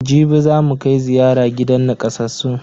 Jibi zamu kai ziyara gidan nakasassun.